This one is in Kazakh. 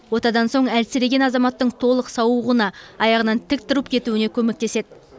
отадан соң әлсіреген азаматтың толық сауығуына аяғынан тік тұрып кетуіне көмектеседі